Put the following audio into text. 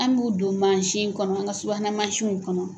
An b'u don mansin kɔnɔ an ka subuhana mansinw kɔnɔ.